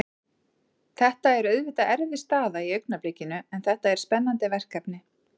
Þetta er auðvitað erfið staða í augnablikinu en þetta er spennandi verkefni.